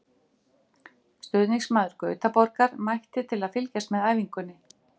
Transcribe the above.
Stuðningsmaður Gautaborgar mætti til að fylgjast með æfingunni.